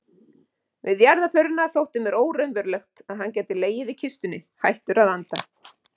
Við jarðarförina þótti mér óraunverulegt að hann gæti legið í kistunni, hættur að anda.